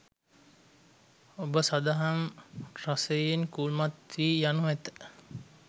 ඔබ සදහම් රසයෙන් කුල්මත් වී යනු ඇත